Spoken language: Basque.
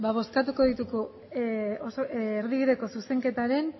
bozkatuko ditugu erdibideko zuzenketaren